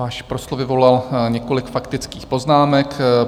Váš proslov vyvolal několik faktických poznámek.